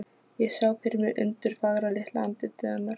Ég sá fyrir mér undurfagra, litla andlitið hennar.